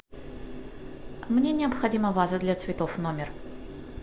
мне необходима ваза для цветов в номер